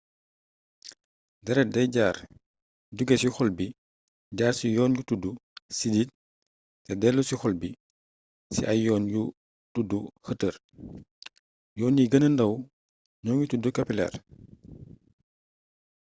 dérét day jaar jugé ci xol bi jaar ci yoon yu tuddu sidit té déllu si ci xol bi ci ay yoon yu tuddu xëtër yoon yi geenee ndaw ñoogi tuddu kapileer